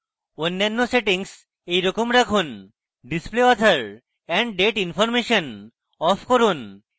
অন্যান্য সেটিংস একইরকম রাখুন display author and date information off রাখুন